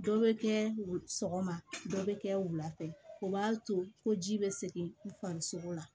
Dɔ bɛ kɛ sɔgɔma dɔ bɛ kɛ wulafɛ o b'a to ko ji bɛ segin farisogo la